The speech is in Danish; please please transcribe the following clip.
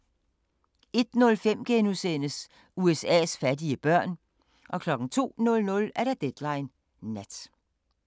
01:05: USA's fattige børn * 02:00: Deadline Nat